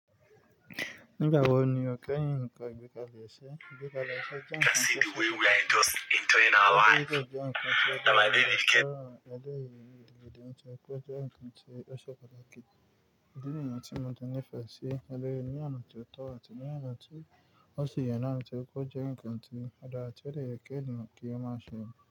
Nígbà wo ni o kẹ́hin nǹkan ìgbẹ́kalẹ̀ ẹṣẹ? Ìgbẹ́kalẹ̀ ẹṣẹ jẹ́ ǹkan tó ṣe é ṣe fún ẹni tí ó fẹ́ lọ sí ibi tí kò jẹ́ nǹkan tí ẹni tí ó fẹ́ lọ sí ibi tí kò jẹ́ nǹkan tí ẹṣọ padà kí n dí nǹkan tí mo ti nífẹ̀ẹ́ sí, ẹlẹ́rìí ní ànátí ọ̀tọ̀ àti ní ànátí ó sì yàn án láti kó jẹ́ nǹkan tí a dara tí ó de yẹ kí ènìyàn kí ó máa ṣe.